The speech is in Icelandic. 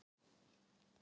sogið